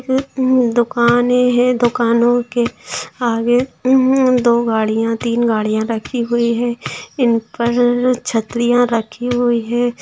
दुकाने हैं दुकानों के आगे उम्म दो गाड़ियां तीन गाड़ियां रखी हुई है इन पर छतरियाँ रखी हुई है।